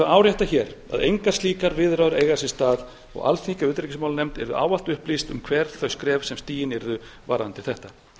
árétta hér að engar slíkar viðræður eiga sér stað og alþingi og utanríkismálanefnd yrðu ávallt upplýst um hver þau skref sem stigin yrðu varðandi þetta